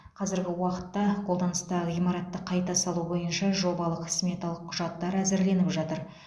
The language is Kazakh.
қазіргі уақытта қолданыстағы ғимаратты қайта салу бойынша жобалық сметалық құжаттар әзірленіп жатыр